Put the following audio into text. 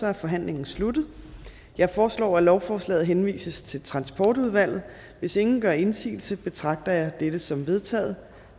er forhandlingen sluttet jeg foreslår at lovforslaget henvises til transportudvalget hvis ingen gør indsigelse betragter jeg dette som vedtaget